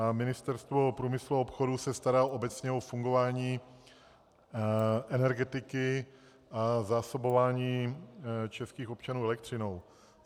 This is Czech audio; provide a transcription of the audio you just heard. A Ministerstvo průmyslu a obchodu se stará obecně o fungování energetiky a zásobování českých občanů elektřinou.